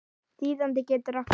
Þýðandi getur átt við